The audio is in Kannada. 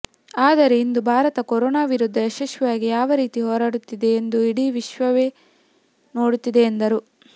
ಆದರೆ ಇಂದು ಭಾರತ ಕೊರೋನಾ ವಿರುದ್ಧ ಯಶಸ್ವಿಯಾಗಿ ಯಾವ ರೀತಿ ಹೋರಾಡುತ್ತಿದೆ ಎಂದು ಇಡೀ ವಿಶ್ವವೇ ನೋಡುತ್ತಿದೆ ಎಂದರು